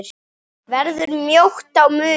Verður mjótt á munum?